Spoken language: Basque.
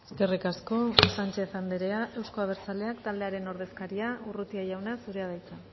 eskerrik asko sánchez anderea euzko abertzaleak taldearen ordezkaria urrutia jauna zurea da hitza